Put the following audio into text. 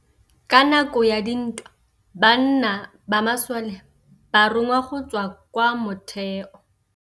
Ka nakô ya dintwa banna ba masole ba rongwa go tswa kwa mothêô.